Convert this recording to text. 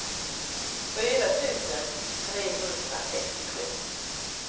fyra tusen trehundrasextiosju